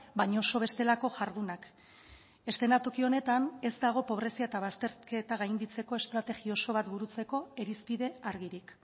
baina oso bestelako jardunak eszenatoki honetan ez dago pobrezia eta bazterketa gainditzeko estrategia oso bat burutzeko irizpide argirik